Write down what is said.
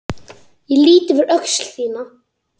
Ég lýt yfir öxl þína.